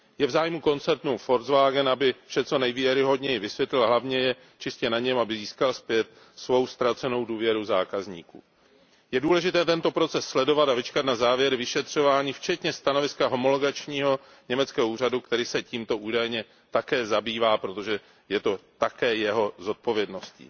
Je v zájmu koncernu Volkswagen, aby vše co nejvěrohodněji vysvětlil a hlavně je čistě na něm, aby získal zpět svou ztracenou důvěru zákazníků. Je důležité tento proces sledovat a vyčkat na závěry vyšetřování včetně stanoviska homologačního německého úřadu, který se tímto údajně také zabývá, protože je to také jeho zodpovědností.